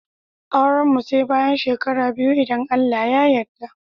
Auran mu Sai bayan shekara biyu idan Allah ya yadda.